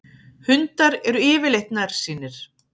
Hundar eru yfirleitt nærsýnir.